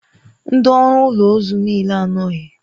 Ndị ọrụ ụlọ ozu niile anọghị.